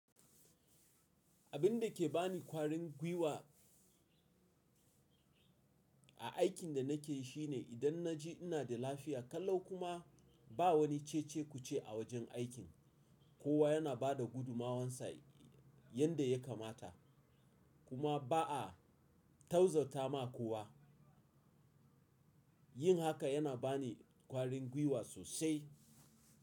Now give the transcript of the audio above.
Abin da ke ba ni kwarin gwiwa a aikin da nake yi shine idan na ji ina da lafiya, kallau kuma ba wani cece-kuce a wajen aikin, kowa yana ba da gudummawarsa yadda ya kamata kuma ba a tauzata ma kowa, yin haka yana ba ni kwarin gwiwa sosai.